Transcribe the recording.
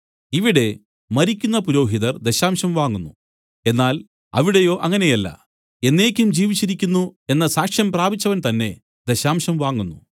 ഇവിടെ മരിക്കുന്ന പുരോഹിതർ ദശാംശം വാങ്ങുന്നു എന്നാൽ അവിടെയോ അങ്ങനെയല്ല എന്നേക്കും ജീവിച്ചിരിക്കുന്നു എന്ന സാക്ഷ്യം പ്രാപിച്ചവൻ തന്നേ ദശാംശം വാങ്ങുന്നു